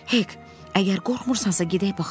Hek, əgər qorxmursansa gedək baxaq.